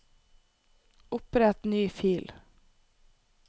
Opprett ny fil